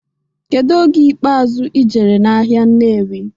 Kedu oge ikpeazụ ijere n'ahịa Nnewi?